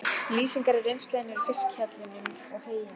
Lýsingarnar af reynslu hennar í fiskhjallinum og heyinu?